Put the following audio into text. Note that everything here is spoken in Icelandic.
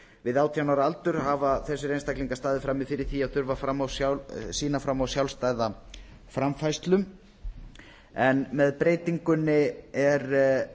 við átján ára aldur hafa þessir einstaklingar staðið frammi fyrir því að þurfa að sýna fram á sjálfstæða framfærslu með breytingunni er